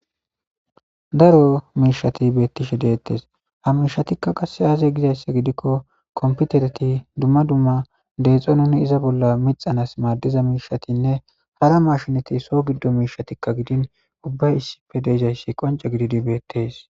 daro miishati beettishe deettes ha mishatikka qasse aaze gizayssa gidikko komputereti dumma dumma deexonin iza bolla mixanas maaddiza miishatinne hara mashinati so giddo miishatikka gidin ubbay issipfe deezayssi qonce gididi beettees